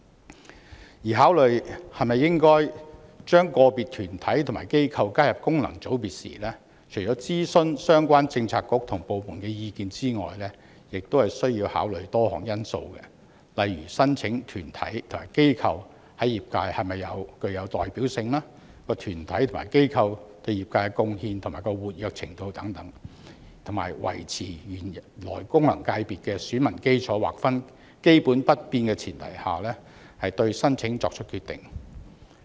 此外，考慮是否應將個別團體或機構加入功能界別時，除諮詢相關政策局/部門的意見外，亦須考慮多項因素，例如申請的團體或機構在業界是否具有代表性、該團體或機構對業界的貢獻及活躍程度等，在維持原來功能界別的選民基礎劃分基本不變的前提下，對申請作出決定。